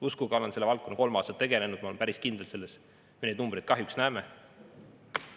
Uskuge, olen selle valdkonnaga kolm aastat tegelenud ja ma olen päris kindel, et selliseid numbreid me kahjuks näeme.